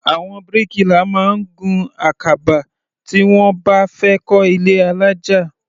Àwọn bíríkìlà máa ń gun àkàbà tí wọ́n bá fẹ́ kọ́ ilé alájà.